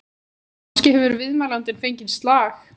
Kannski hefur viðmælandinn fengið slag?